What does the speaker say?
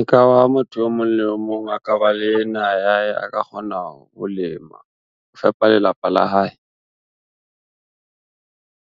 E ka ba motho o mong le o mong a ka ba le naha ya hae, a ka kgona ho lema, ho fepa lelapa la hae.